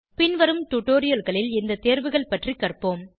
பின்வரும் டுடோரியல்களில் இந்த தேர்வுகள் பற்றி கற்போம்